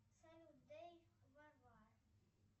салют дей варвар